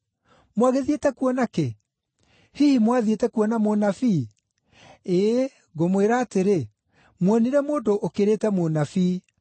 Mwagĩthiĩte kuona kĩ? Hihi mwathiĩte kuona mũnabii? Ĩĩ, ngũmwĩra atĩrĩ, muonire mũndũ ũkĩrĩte mũnabii.